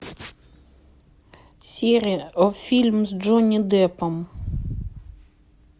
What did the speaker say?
сири фильм с джонни деппом